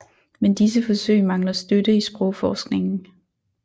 Men disse forsøg mangler støtte i sprogforskningen